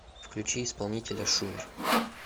включи исполнителя шумер